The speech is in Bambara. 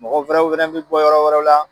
Mɔgɔ wɛrɛw fɛnɛ bi bɔ yɔrɔ wɛrɛ la